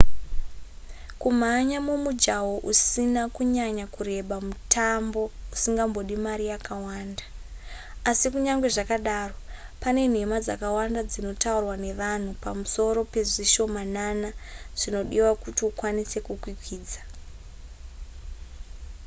kumhanya mumujaho usina kunyanya kureba mutambo usingambodi mari yakawanda asi kunyange zvakadaro pane nhema dzakawanda dzinotaurwa nevanhu pamusoro pezvishomanana zvinodiwa kuti ukwanise kukwikwidza